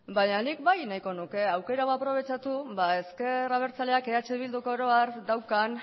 baina nik bai nahiko nuke aukera hau aprobetxatu ezker abertzaleak eh bilduk oro har daukan